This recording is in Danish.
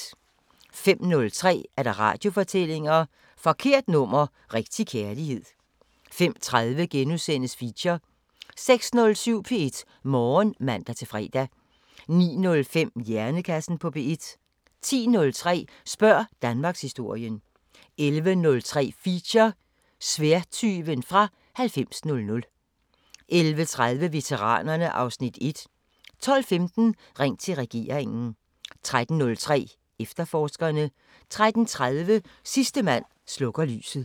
05:03: Radiofortællinger: Forkert nummer – rigtig kærlighed 05:30: Feature * 06:07: P1 Morgen (man-fre) 09:05: Hjernekassen på P1 10:03: Spørg Danmarkshistorien 11:03: Feature: Sværdtyven fra 9000 11:30: Veteranerne (Afs. 1) 12:15: Ring til regeringen 13:03: Efterforskerne 13:30: Sidste mand slukker lyset